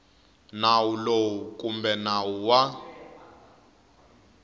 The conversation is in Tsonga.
nawu lowu kumbe nawu wa